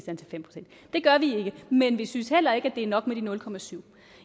gør vi ikke men vi synes heller ikke at det er nok med de nul procent